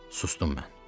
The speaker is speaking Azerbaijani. Sustum mən.